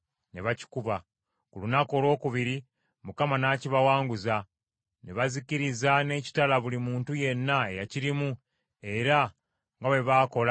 Ku lunaku olwokubiri Mukama n’akibawanguza, ne bazikiriza n’ekitala buli muntu yenna eyakirimu era nga bwe baakola e Libuna.